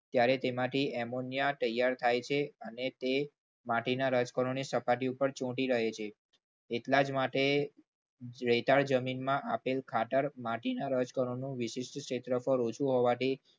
ત્યારે તેમાંથી એમોનિયા તૈયાર થાય છે અને તે માટીના સપાટી પર રજકણો ચોંટી રહે છે. એટલા જ માટે રેતાળ જમીનમાં રહેલ ખાતર માટીના રજકણોનું વિશિષ્ટ ક્ષેત્રફળ ઓછું હોવાથી